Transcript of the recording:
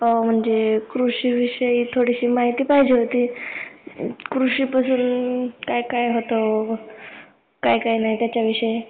हा म्हणजे, कृषीविषयी थोडीशी माहिती पाहिजे होती. कृषीपासून काय काय होतो? काय काय नाही त्याच्याविषयी.